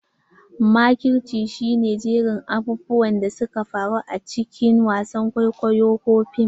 Makirci shi ne jerin abubuwan da suka faru a cikin wasan kwaikwayo ko fim.